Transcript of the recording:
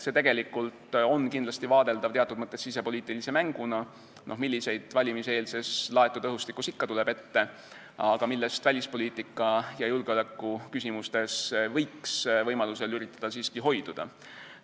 See on kindlasti vaadeldav teatud mõttes sisepoliitilise mänguna, mida valimiseelses laetud õhustikus ikka ette tuleb, aga millest välispoliitika- ja julgeolekuküsimustes võiks võimaluse korral üritada siiski hoiduda.